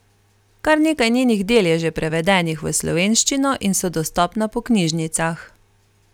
Kar nekaj njenih del je že prevedenih v slovenščino in so dostopna po knjižnicah.